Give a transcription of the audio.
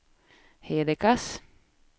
Hedekas